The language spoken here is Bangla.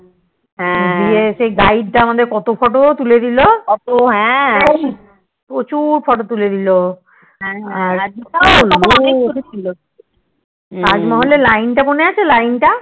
হ্যা দিয়ে সেই Guide টা আমাদের কত Photo তুলে দিলো প্রচুর Photo তুলে দিলো তাজমহল এর লাইন টা মনে আছে লাইন টা